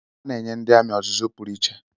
A na-enye ndị amị ọzụzụ pụrụ iche.